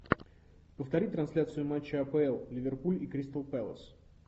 повтори трансляцию матча апл ливерпуль и кристал пэлас